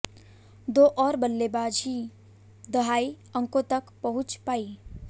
दो और बल्लेबाज ही दहाई अंकों तक पहुंच पाईं